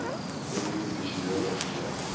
oudio visuele media